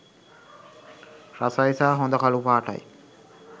රසයි සහ හොඳ කළුපාටයි.